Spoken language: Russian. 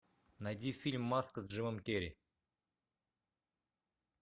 найди фильм маска с джимом керри